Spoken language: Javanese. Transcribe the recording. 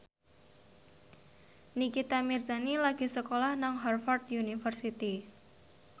Nikita Mirzani lagi sekolah nang Harvard university